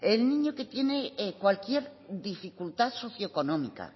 el niño que tiene cualquier dificultad socioeconómica